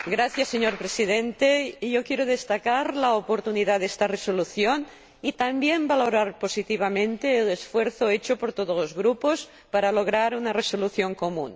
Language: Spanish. Señor Presidente, quiero destacar la oportunidad de esta resolución y también valorar positivamente el esfuerzo hecho por todos los Grupos para lograr una resolución común.